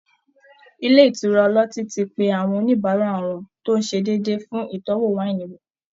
Ilé ìtura ọlọ́tí ti pe àwọn oníbàárà wọn tó ń ṣe déédéé fún ìtọ́ wáìnì wò